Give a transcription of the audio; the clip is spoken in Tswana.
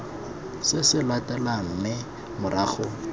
se se latelang mme morago